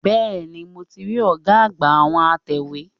Bẹ́ẹ̀ni, mo ti rí ọ̀gá àgbà àwọn atẹ̀wé.